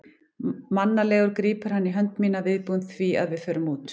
Mannalegur grípur hann í hönd mína, viðbúinn því að við förum út.